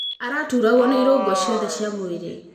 Araturagwo nĩ irũgũ ciothe cia mwĩrĩ.